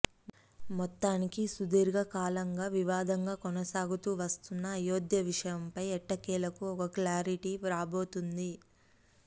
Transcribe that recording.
మొత్తానికి సుదీర్ఘ కాలంగా వివాదంగా కొనసాగుతూ వస్తున్న అయోద్య విషయంపై ఎట్టకేలకు ఒక క్లారిటీ రాబోతుంది